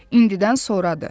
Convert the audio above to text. İndidən sonradır.